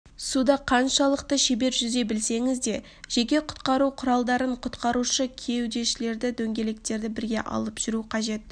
суда қаншалықты шебер жүзе білсеңізде жеке құтқару құралдарын құтқарушы кеудешелерді дөңгелектерді бірге алып жүру қажет